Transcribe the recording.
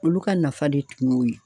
Olu ka nafa de tun y'o ye.